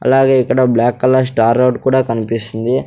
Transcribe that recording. అలాగే ఇక్కడ black colour star road కూడా కన్పిస్తుంది.